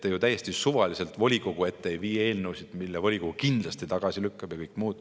Te ju täiesti suvaliselt eelnõusid volikogu ette ei vii, selliseid, mille volikogu kindlasti tagasi lükkab.